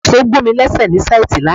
Ìṣò gùn mi léṣe ní síìtì lánàá